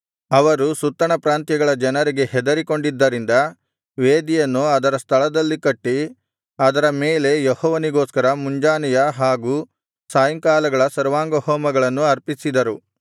ಅವರು ಸುತ್ತಣ ಪ್ರಾಂತ್ಯಗಳ ಜನರಿಗೆ ಹೆದರಿಕೊಂಡಿದ್ದರಿಂದ ವೇದಿಯನ್ನು ಅದರ ಸ್ಥಳದಲ್ಲಿ ಕಟ್ಟಿ ಅದರ ಮೇಲೆ ಯೆಹೋವನಿಗೋಸ್ಕರ ಮುಂಜಾನೆಯ ಹಾಗು ಸಾಯಂಕಾಲಗಳ ಸರ್ವಾಂಗಹೋಮಗಳನ್ನು ಅರ್ಪಿಸಿದರು